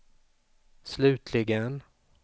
slutligen